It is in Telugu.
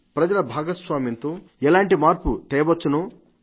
ప్రజల భాగస్వామ్యంతో ఎలాంటి మార్పు తెవచ్చునో